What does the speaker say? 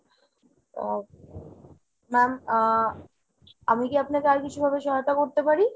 ma'am আহ আমি কী আপনাকে আর কিছু ভাবে সহায়তা করতে পারি ?